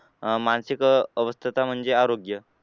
अह मानसिक अवस्था म्हणजे तर आरोग्य